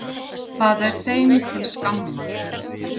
Það er þeim til skammar.